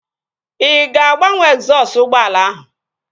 Ị ga-agbanwe egzọsụ ụgbọala ahụ?